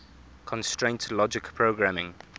constraint logic programming